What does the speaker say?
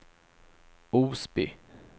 Osby